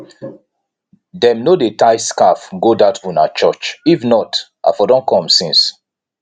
dem no dey tie scarf go dat una church if not i for don come since